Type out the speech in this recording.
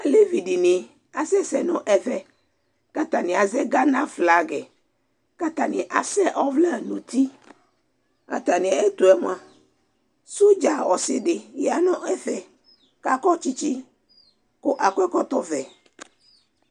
alevi di ni asɛ sɛ no ɛvɛ ko atani azɛ Ghana flag ko atani asɛ ɔvlɛ no uti ko atamiɛtoɛ moa sodza ɔse di ya no ɛfɛ ko akɔ tsitsi ko akɔ ɛkɔtɔ vɛ